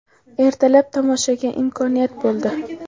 Ertalab tomoshaga imkoniyat bo‘ldi.